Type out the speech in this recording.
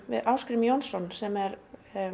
við Ásgrím Jónsson sem er